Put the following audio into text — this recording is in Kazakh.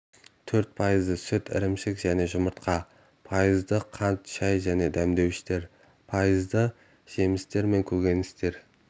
төрт пайызды сүт ірімшік және жұмыртқа пайызды қант шай және дәмдеуіштер пайызды жемістер мен көкөніс